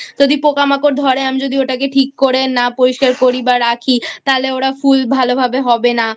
যদি পোকামাকড় ধরে আর আমি ঠিক করে না পরিষ্কার করি বা রাখি তাহলে ওরা ফুল ভালো ভাবে হবে না